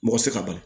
Mɔgɔ tɛ se ka bali